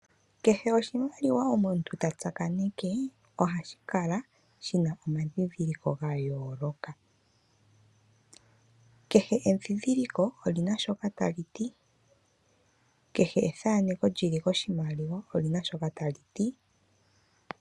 Kehe oshimaliwa omuntu ta tsakaneke ohashi kala shi na omadhidhiliko ga yooloka. Kehe edhindhiliko oli na shoka tali ti, kehe ethaneko lyi li koshimaliwa oli na shoka tali ti.